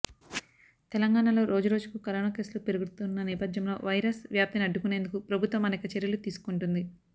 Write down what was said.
తెలంగాణలో రోజు రోజుకు కరోనా కేసులు పెరుగుతున్న నేపధ్యంలో వైరస్ వ్యాప్తిని అడ్డుకునేందుకు ప్రభుత్వం అనేక చర్యలు తీసుకుంటుంది